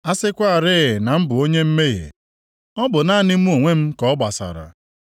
A sịkwarị na m bụ onye mmehie, ọ bụ naanị mụ onwe m ka ọ gbasara.